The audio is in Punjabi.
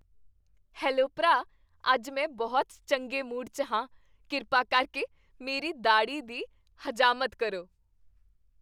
ਹੈਲੋ ਭਰਾ, ਅੱਜ ਮੈਂ ਬਹੁਤ ਚੰਗੇ ਮੂਡ 'ਚ ਹਾਂ। ਕਿਰਪਾ ਕਰਕੇ ਮੇਰੀ ਦਾੜ੍ਹੀ ਦੀ ਹਜਾਮਤ ਕਰੋ।